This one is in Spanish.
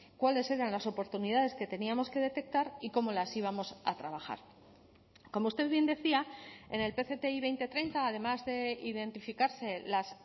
cuáles eran las oportunidades que teníamos que detectar y cómo las íbamos a trabajar como usted bien decía en el pcti dos mil treinta además de identificarse las